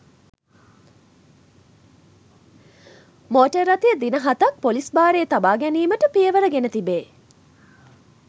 Motor රථය දින හතක් පොලිස් භාරයේ තබා ගැනීමට පියවර ගෙන තිබේ.